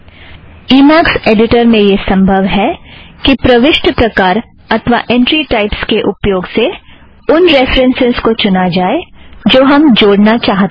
E max editor में यह संभव है कि प्रविष्टि प्रकार अथ्वा ऐंट्री टाइपस के उपयोग से उन रेफ़रन्सस् को चुना जाए जो हम जोड़ना चाहतें हैं